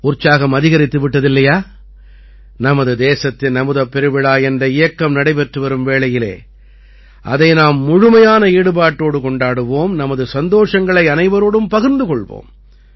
உற்சாகம் அதிகரித்து விட்டது இல்லையா நமது தேசத்தின் அமுதப் பெருவிழா என்ற இயக்கம் நடைபெற்று வரும் வேளையிலே அதை நாம் முழுமையான ஈடுபாட்டோடு கொண்டாடுவோம் நமது சந்தோஷங்களை அனைவரோடும் பகிர்ந்து கொள்வோம்